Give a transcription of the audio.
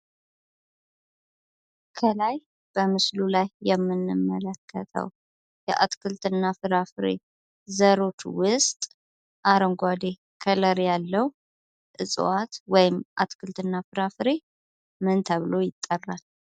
ከላይ በምስሉ ላይ የምንመለከተው የአትክልትና ፍራፍሬ ዘሮች ውስጥ አረንጓዴ ከለር ያለው እጽዋት ወይም አትክልትና ፍራፍሬ ምን ተብሎ ይጠራል?